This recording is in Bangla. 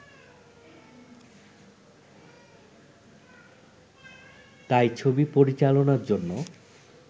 তাই ছবি পরিচালনার জন্য